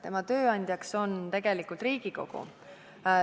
Tema tööandja on tegelikult Riigikogu.